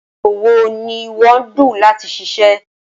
ípò wo ni ìwo ń dù láti ṣiṣẹ